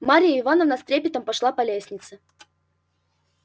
марья ивановна с трепетом пошла по лестнице